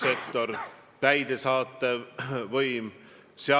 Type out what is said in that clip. Te tahate elada riigis, kus partei kontrollib kõike.